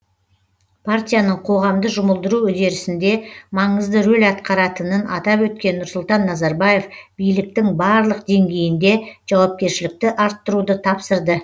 партияның қоғамды жұмылдыру үдерісінде маңызды рөл атқаратынын атап өткен нұрсұлтан назарбаев биліктің барлық деңгейінде жауапкершілікті арттыруды тапсырды